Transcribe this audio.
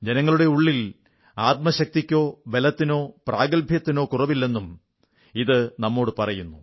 ജനങ്ങളുടെ ഉള്ളിൽ ആത്മശക്തിക്കോ ബലത്തിനോ പ്രാഗൽഭ്യത്തിനോ കുറവില്ലെന്നും ഇതു നമ്മോടു പറയുന്നു